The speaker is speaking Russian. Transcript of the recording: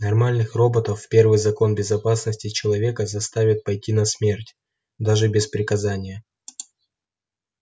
нормальных роботов первый закон безопасности человека заставит пойти на смерть даже без приказания